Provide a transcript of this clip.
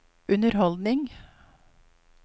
underholdning